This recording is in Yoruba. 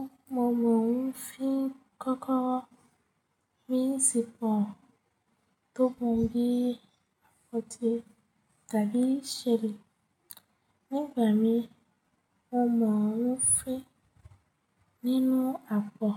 Ọmọ òhun fi kọ́kọ́rọ́ míì sípọ̀ tó mọ bí àpótí tàbí ṣẹ́ẹ̀lì. Nígbà míi, ọmọ òhun fi nínú àpọ̀